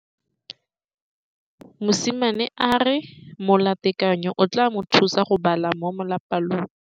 Mosimane a re molatekanyô o tla mo thusa go bala mo molapalong.